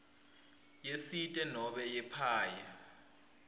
yesite nobe yepaye